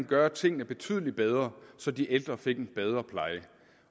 gøre tingene betydelig bedre så de ældre fik en bedre pleje